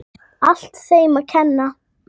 Allt þeim að kenna.!